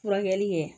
Furakɛli ye